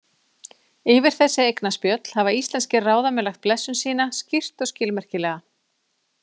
Yfir þessi eignaspjöll hafa íslenskir ráðamenn lagt blessun sína, skýrt og skilmerkilega.